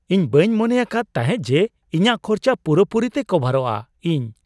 ᱤᱧ ᱵᱟᱹᱧ ᱢᱚᱱᱮ ᱟᱠᱟᱫ ᱛᱟᱦᱮᱸᱜ ᱡᱮ ᱤᱧᱟᱜ ᱠᱷᱚᱨᱪᱟ ᱯᱩᱨᱟᱼᱯᱩᱨᱤ ᱛᱮ ᱠᱚᱵᱷᱟᱨᱜᱼᱟ ᱾ (ᱤᱧ)